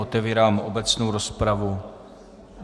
Otevírám obecnou rozpravu.